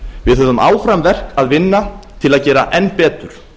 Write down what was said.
við höfum áfram verk að vinna til að gera enn betur